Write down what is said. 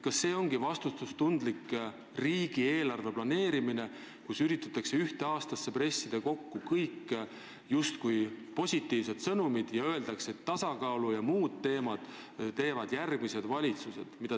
Kas see ongi vastutustundlik riigieelarve planeerimine, kui ühte aastasse üritatakse kokku pressida justkui kõik positiivsed sõnumid ja öeldakse, et tasakaalu ja muude teemadega tegelevad järgmised valitsused?